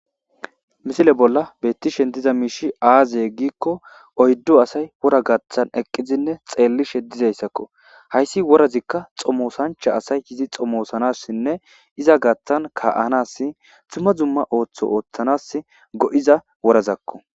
Misile bolla betishe diza mishiy aze gikko oydu asay wora gathan xelishe dizaysazako haysi worazika xomosancha asay yidi xomosanasine izaa gathan ka'anas duma duma oso othanas goiza worazako